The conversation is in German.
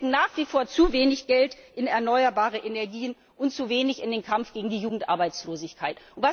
Wir stecken nach wie vor zu wenig Geld in erneuerbare Energien und zu wenig in den Kampf gegen die Jugendarbeitslosigkeit.